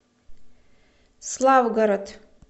славгород